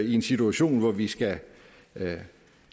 i en situation hvor vi skal